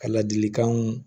Ka ladilikanw